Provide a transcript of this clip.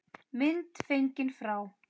Mynd fengin frá